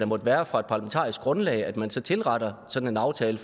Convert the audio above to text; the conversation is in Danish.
måtte være fra et parlamentarisk grundlag at man så tilretter sådan en aftale